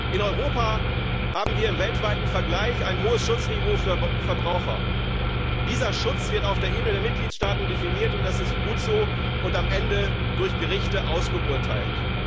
In Europa haben wir im weltweiten Vergleich ein hohes Schutzniveau für Verbraucher. Dieser Schutz wird auf der Ebene der Mitgliedstaaten definiert und das ist gut so und am Ende durch Gerichte ausgeurteilt.